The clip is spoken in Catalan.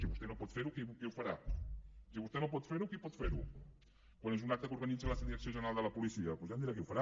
si vostè no pot fer ho qui ho farà si vostè no pot fer ho qui pot ferho quan és un acte que organitza la direcció general de la policia doncs ja em dirà qui ho farà